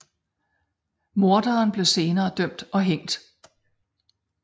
Morderen blev senere dømt og hængt